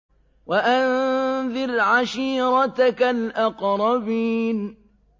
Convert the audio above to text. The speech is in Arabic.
وَأَنذِرْ عَشِيرَتَكَ الْأَقْرَبِينَ